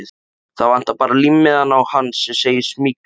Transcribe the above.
Það vantar bara límmiðann á hann sem segir SMYGLAÐ.